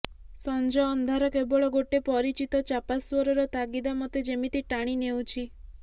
ସଞ୍ଜ ଅନ୍ଧାର କେବଳ ଗୋଟେ ପରିଚିତ ଚାପାସ୍ୱରର ତାଗିଦା ମୋତେ ଯେମିତି ଟାଣି ନେଉଚି